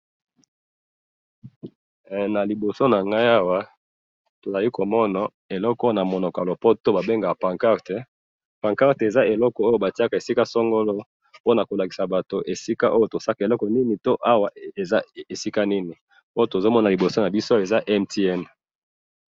Awa na moni logo ya MTN.